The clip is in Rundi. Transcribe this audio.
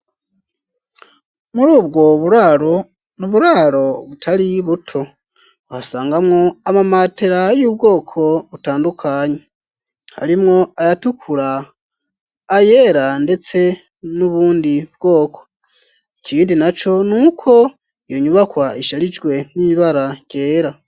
Muri ubwo ni uburaro utari buto hasangamwo amamatera y'ubwoko butandukanyi harimwo ayatukura ayera, ndetse n'ubundi bwoko ikindi na co nuko iyo nyubakwa isharijwe n'ibara ryera.